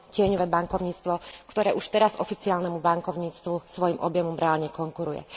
tieňové bankovníctvo, ktoré už teraz oficiálnemu bankovníctvu svojim objemom reálne konkuruje.